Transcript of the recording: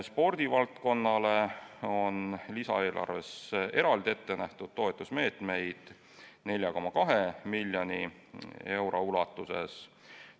Spordivaldkonnale on lisaeelarves ette nähtud toetusmeetmeid 4,2 miljoni euro ulatuses.